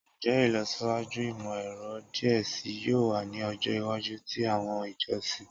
Njẹ ilọsiwaju imọ-ẹrọ diẹ sii yoo wa ni ọjọ iwaju ti awọn ijọsin?